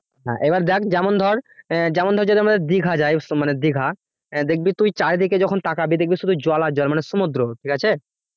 এবার দেখ যেমন ধর যেমন ধর দীঘায় যায় মানুষ তো দিঘা দেখবি তুই চারিদিকে যখন তাকাবি দেখবি শুধু জল আর জল মানে সমুদ্র ঠিক আছে